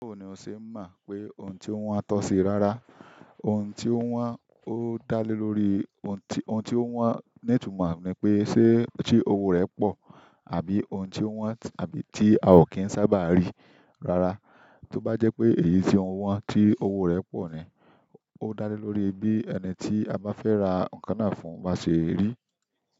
Báwo ni o ṣe mọ̀ pé ohun tí ó wọ́n á tọ́ sí rárá, ohun tí ó wọ́n ó dá lé lórí ohun tí ohun tí ó wọ́n, ní ìtumọ̀ ni pé ṣé tí owó rẹ̀ pọ̀, àbí ohun tí ó wọ́n àbí tí a ò kí ń sábà rí rárá. Tóbá jẹ́ pé èyí ni o wọn tí owó rẹ̀ pọ̀ ni, ó dá lé lórí bí ẹni tí a bá fẹ́ ra nǹkan náà fún bá ṣe rí.